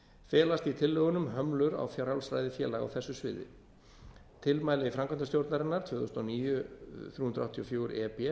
felast í tillögunum hömlum á frjálsræði félaga á þessu sviði tilmæli framkvæmdastjórnarinnar tvö þúsund og níu þrjú hundruð áttatíu og fjögur e b